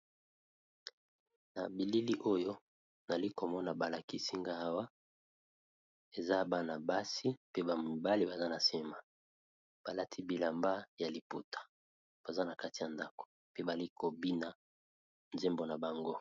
Na bilili oyo nazalikomona balakisinga nga Awa eza Bana basi pe ba mibale baza nasima balakisi bilamba ya maputa baza kati ya ndako bazoko bina nzembo nabango.